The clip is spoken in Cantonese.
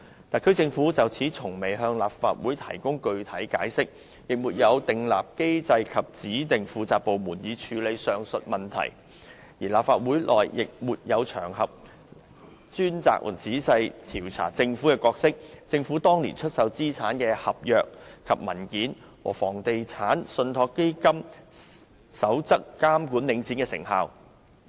特區政府從未就此向立法會作出具體解釋，亦沒有設立機制及指定一個部門負責處理上述問題，而立法會內亦沒有場合供議員專責和仔細地調查政府的角色、政府當年出售資產的合約和文件，以及《房地產投資信託基金守則》監管領展的成效。